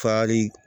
Fali